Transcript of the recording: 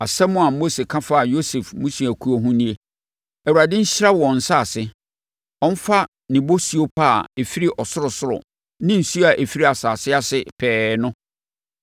Asɛm a Mose ka faa Yosef mmusuakuo ho nie: “ Awurade nhyira wɔn nsase; ɔmfa ne bosuo pa a ɛfiri sorosoro ne nsuo a ɛfiri asase ase pɛɛ no,